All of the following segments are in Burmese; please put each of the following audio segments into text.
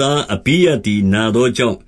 သား အဘိယသည် နာသောကြောင့်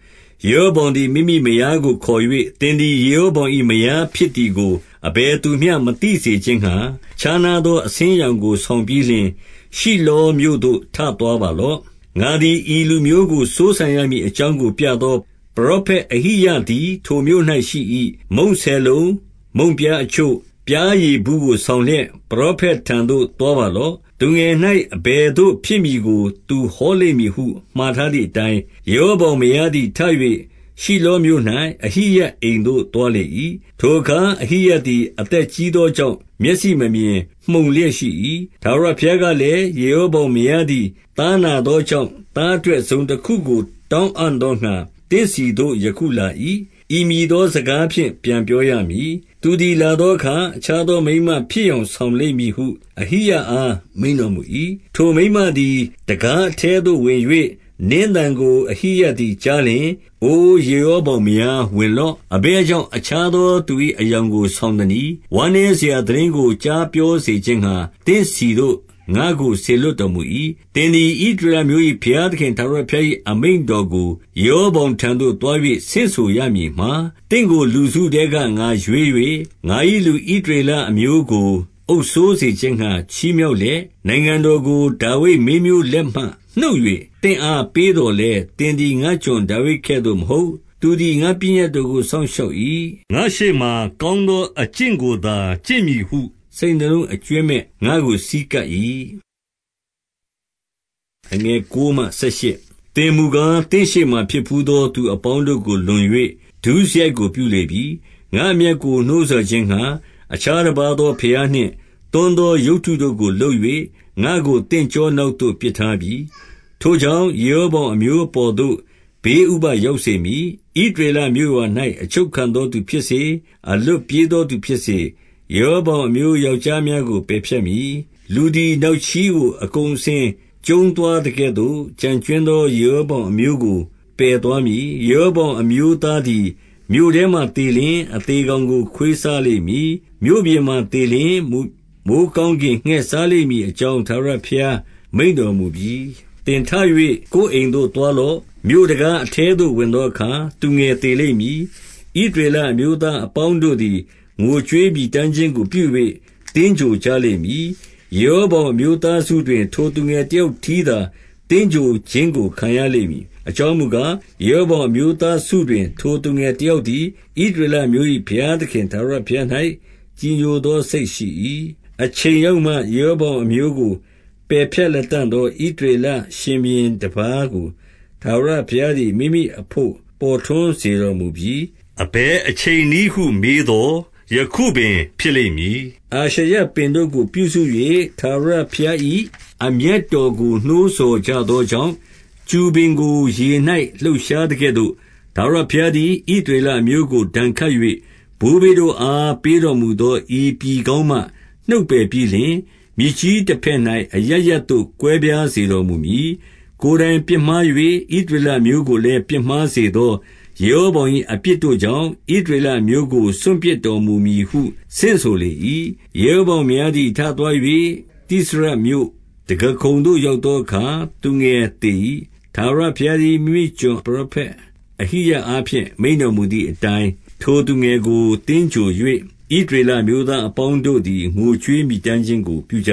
၊ 2 ယေရောဗောင်သည် မိမိမယားကိုခေါ်၍၊ သင်သည် ယေရောဗောင်၏ မယားဖြစ်သည်ကို အဘယ်သူမျှ မသိစေခြင်းငှါ ခြားနားသော အဆင်းအရောင်ကို ဆောင်ပြီးလျှင်၊ ရှိလောမြို့သို့ ထသွားပါလော့။ ငါသည် ဤလူမျိုးကို စိုးစံရမည်အကြောင်းကို ပြသော ပရောဖက် အဟိယသည် ထိုမြို့၌ရှိ၏။ 3 မုန့်ဆယ်လုံး၊ မုန့်ပြားအချို့၊ ပျားရည်ဘူးကို ဆောင်လျက် ပရောဖက်ထံသို့ သွားပါလော့။ သူငယ်၌ အဘယ်သို့ဖြစ်မည်ကို သူဟောလိမ့်မည်ဟု မှာထားသည် အတိုင်း၊ 4 ယေရောဗောင်မယားသည် ထ၍ ရှိလောမြို့၌ အဟိယအိမ်သို့ သွားလေ၏။ ထိုအခါ အဟိယသည် အသက်ကြီးသောကြောင့် မျက်စိမမြင်၊ မှုန်လျက်ရှိ၏။ 5 ထာဝရဘုရားကလည်း၊ ယေရောဗောင်မယားသည် သားနားသောကြောင့်၊ သားအတွက်တစုံတခုကို တောင်းအံ့သောငှါ သင့်ဆီသို့ ယခုလာ၏။ ဤမည်သော စကားဖြင့် ပြန်ပြောရမည်။ သူသည် လာသောအခါ အခြားသော မိန်းမဖြစ်ယောင်ဆောင်လိမ့်မည်ဟု အဟိယအား မိန့်တော်မူ၏။ 6 ထိုမိန်းမသည် တံခါးအထဲသို့ ဝင်၍၊ နင်းသံကို အဟိယသည် ကြားလျှင်၊ အိုယေရောဗောင်မယား ဝင်လော့။ အဘယ်ကြောင့် အခြားသော သူ၏အယောင်ကို ဆောင်သနည်း။ ဝမ်းနည်းစရာသိတင်းကို ကြား ပြောစေခြင်းငှါ သင့်ဆီသို့ ငါ့ကိုစေလွှတ်တော်မူ၏။ 7 သင်သည် ဣသရေလအမျိုး၏ ဘုရားသခင် ထာဝရဘုရား၏အမိန့်တော်ကို၊ ယေရောဗောင်ထံသို့ သွား၍ ဆင့်ဆိုရမည်မှာ၊ သင့်ကိုလူစုထဲက ငါရွေး၍ ငါ၏လူဣသရေလအမျိုးကို အုပ်စိုးစေခြင်းငှါ ချီးမြှောက် လျက်၊ 8 နိုင်ငံတော်ကို ဒါဝိဒ်မင်းမျိုးလက်မှနှုတ်၍ သင့်အားပေးသော်လည်း၊ သင်သည် ငါ့ကျွန်ဒါဝိဒ်ကဲ့သို့ မဟုတ်။ သူသည် ငါ့ပညတ်တို့ကို စောင့်ရှောက်၏။ ငါ့ရှေ့မှာ ကောင်းသောအကျင့်ကိုသာ ကျင့်မည်ဟု စိတ်နှလုံး အကြွင်းမဲ့ ငါ့ကို ဆည်းကပ်၏။ 9 သင်မူကား သင့်ရှေ့မှာ ဖြစ်ဘူးသောသူ အပေါင်းတို့ကို လွန်၍ ဒုစရိုက်ကိုပြုလေပြီ။ ငါ့အမျက်ကို နှိုးဆော်ခြင်းငှါ အခြားတပါးသော ဘုရားနှင့်သွန်းသော ရုပ်တုတို့ကိုလုပ်၍ ငါ့ကိုသင့်ကျောနောက်သို့ ပစ်ထားပြီ။ 10 ထိုကြောင့် ယေရောဗောင်အမျိုးအပေါ်သို့ ဘေးဥပဒ်ရောက်စေမည်။ ဣသရေလမြို့ရွာ၌ အချုပ် ခံသောသူဖြစ်စေ၊ အလွတ်ပြေးသောသူဖြစ်စေ၊ ယေရောဗောင်အမျိုးယောက်ျားများကို ပယ်ဖြတ်မည်။ လူသည် နောက်ချေးကို အကုန်အစင်ကျုံးသွားသကဲ့သို့၊ ကျန်ကြွင်းသော ယေရောဗောင်အမျိုးသားကို ပယ်သွားမည်။ 11 ယေရောဗောင်အမျိုးသားသည် မြို့ထဲမှာ သေလျှင်အသေကောင်ကို ခွေးစားလိမ့်မည်။ မြို့ပြင်မှာ သေလျှင် မိုဃ်းကောင်းကင်ငှက်စားလိမ့်မည်အကြောင်း ထာဝရဘုရားမိန့်တော်မူပြီ။ 12 သင်ထ၍ ကိုယ်အိမ်သို့ သွားလော့။ မြို့တံခါး အထဲသို့ ဝင်သောအခါ သူငယ်သေလိမ့်မည်။ 13 ဣသရေလအမျိုးသားအပေါင်းတို့သည် ငိုကြွေး မြည်တမ်းခြင်းကို ပြု၍ သင်္ဂြိုဟ်ကြလိမ့်မည်။ ယေရော ဗောင်အမျိုးသားစုတွင်၊ ထိုသူငယ်တယောက်တည်းသာ သင်္ဂြိုဟ်ခြင်းကို ခံရလိမ့်မည်။ အကြောင်းမူကား၊ ယေရော ဗောင်အမျိုးသားစုတွင် ထိုသူငယ်တယောက်သည် ဣသရေလအမျိုး၏ဘုရားသခင်ထာဝရဘုရား၌ ကြည်ညို သော စိတ်ရှိ၏။ 14 အချိန်ရောက်မှ ယေရောဗောင်အမျိုးကို ပယ်ဖြတ်လတံ့သော ဣသရေလရှင်ဘုရင်တပါးကို ထာဝရ ဘုရားသည် မိမိတို့အဘို့ ပေါ်ထွန်းစေတော်မူမည်။ အဘယ်အချိန်နည်းဟုမေးသော်၊ ယခုပင်ဖြစ်လိမ့်မည်။ 15 အာရှရပင်တို့ကို ပြုစု၍ ထာဝရဘုရား၏ အမျက်တော်ကိုနှိုးဆော်ကြသောကြောင့်၊ ကျူပင်ကို ရေ၌လှုပ်ရှားသကဲ့သို့ ထာဝရဘုရားသည် ဣသရေလ အမျိုးကို ဒဏ်ခတ်၍၊ ဘိုးဘေးတို့အား ပေးတော်မူသော ဤပြည်ကောင်းမှ နှုတ်ပယ်ပြီးလျှင်၊ မြစ်ကြီးတဘက်၌ အရပ်ရပ်သို့ ကွဲပြားစေတော်မူမည်။ 16 ကိုယ်တိုင်ပြစ်မှား၍ ဣသရေလအမျိုးကိုလည်း ပြစ်မှားစေသော ယေရောဗောင်၏ အပြစ်တို့ကြောင့် ဣသရေလအမျိုးကို စွန့်ပစ်တော်မူမည်ဟု ဆင့်ဆိုလေ ၏။ 17 ယေရောဗောင် မယားသည် ထသွား၍၊ တိရဇမြို့တံခါးခုံသို့ရောက်သောအခါ သူငယ်သေ၏။ 18 ထာဝရဘုရားသည် မိမိကျွန် ပရောဖက် အဟိယအားဖြင့် မိန့်တော်မူသည်အတိုင်း၊ ထိုသူငယ်ကို သင်္ဂြိုဟ်၍ ဣသရေလအမျိုးသားအပေါင်းတို့သည် ငိုကြွေးမြည်တမ်းခြင်းကို ပြုကြ၏။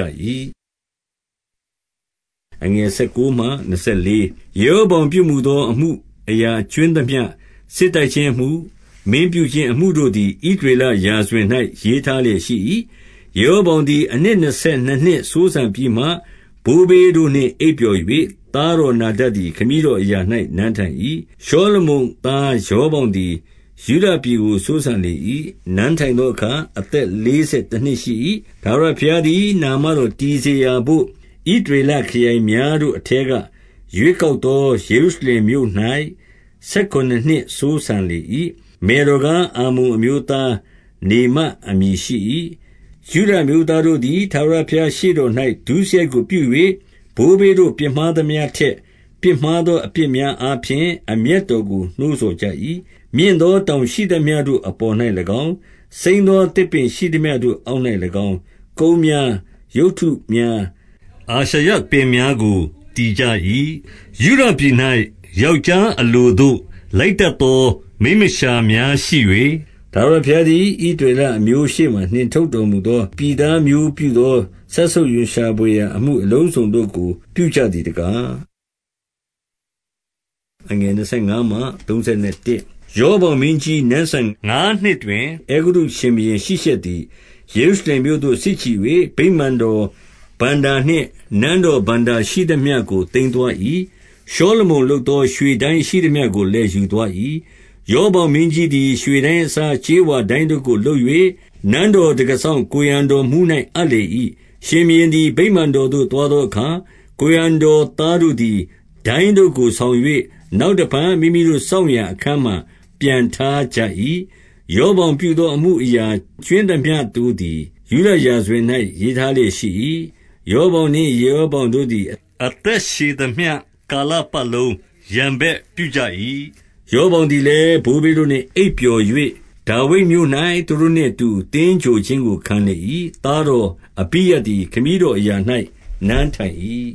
19 ယေရောဗောင်ပြုမူသော အမှုအရာကြွင်းသမျှ၊ စစ်တိုက်ခြင်း အမှု၊ မင်းပြုခြင်းအမှုတို့သည် ဣသရေလ ရာဇဝင်၌ ရေးထားလျက် ရှိ၏။ 20 ယေရောဗောင်သည် အနှစ်နှစ်ဆယ်နှစ်နှစ် စိုးစံပြီးမှ ဘိုးဘေးတို့နှင့် အိပ်ပျော်၍၊ သားတော်နာဒဒ် သည် ခမည်းတော်အရာ၌ နန်းထိုင်၏။ 21 ရှောလမုန်သားရောဗောင်သည် ယုဒပြည်ကို စိုးစံလေ၏။ နန်းထိုင်သောအခါ အသက်လေးဆယ် တနှစ်ရှိ၏။ ထာဝရဘုရားသည် နာမတော်တည်စေရာဘို့ ဣသရေလခရိုင်များတို့အထဲက ရွေးကောက်သော ယေရု ရှလင်မြို့၌ ဆယ်ခုနစ်နှစ်စိုးစံလေ၏။ မယ်တော်ကား အမ္မုန်အမျိုးသား၊ နေမအမည်ရှိ၏။ 22 ယုဒအမျိုးသားတို့သည် ထာဝရဘုရားရှေ့တော်၌ ဒုစရိုက်ကိုပြု၍၊ ဘိုးဘေးတို့ပြစ်မှားသမျှထက် ပြစ်မှား သော အပြစ်များအားဖြင့် အမျက်တော်ကိုနှိုးဆော်ကြ၏။ 23 မြင့်သောတောင်ရှိသမျှတို့အပေါ်၌၎င်း၊ စိမ်း သော သစ်ပင်ရှိသမျှတို့အောက်၌၎င်း၊ ကုန်းများ၊ ရုပ်တု များ၊ အာရှရပင်များကို တည်ကြ၏။ 24 ယုဒပြည်၌ ယောက်ျားအလိုသို့ လိုက်တတ်သော မိန်းမလျှာများရှိ၍၊ ထာဝရဘုရားသည် ဣသရေလ အမျိုးရှေ့မှ နှင်ထုတ်တော်မူသော ပြည်သားမျိုးပြုသော စက်ဆုပ်ရွံရှာဘွယ်ရာ အမှုအလုံးစုံတို့ကို ပြုကြသည် တကား။ 25 ရောဗောင်မင်းကြီးနန်းစံငါးနှစ်တွင်၊ အဲဂုတ္တု ရှင်ဘုရင်ရှိရှက်သည် ယေရုရှလင်မြို့သို့ စစ်ချီ၍၊ 26 ဗိမာန်တော် ဘဏ္ဍာနှင့်နန်းတော်ဘဏ္ဍာရှိသမျှကို သိမ်းသွား၏။ ရှောလမုန်လုပ်သော ရွှေဒိုင်းရှိသမျှကို လည်း ယူသွား၏။ ရှောလမုန်လုပ်သော ရွှေဒိုင်းရှိသမျှကို လည်း ယူသွား၏။ 27 ရောဗောင်မင်းကြီးသည် ရွှေဒိုင်းအစား ကြေးဝါ ဒိုင်းတို့ကိုလုပ်၍ နန်းတော်တံခါးစောင့် ကိုယ်ရံတော်မှူး၌ အပ်လေ၏။ 28 ရှင်ဘုရင်သည် ဗိမာန်တော်သို့သွားသောအခါ၊ ကိုယ်ရံတော် သားတို့သည် ဒိုင်းတို့ကိုထား၍ နောက် တဖန်မိမိတို့စောင့်ရာအခန်းမှာ ပြန်ထားကြ၏။ 29 ရောဗောင်ပြုမူသော အမှုအရာ ကြွင်းသမျှတို့ သည် ယုဒရာဇဝင်၌ ရေးထားလျက်ရှိ၏။ 30 ရောဗောင်နှင့်ယေရောဗောင်တို့သည် အသက်ရှည်သမျှ ကာလပတ်လုံးရန်ဘက်ပြုကြ၏။ 31 ရောဗောင်သည်လည်း ဘိုးဘေးတို့နှင့် အိပ်ပျော်၍၊ ဒါဝိဒ်မြို့၌ သူတို့နှင့်အတူ သင်္ဂြိုဟ်ခြင်းကို ခံလေ၏။ သားတော်အဘိယသည် ခမည်းတော်အရာ၌ နန်းထိုင်၏။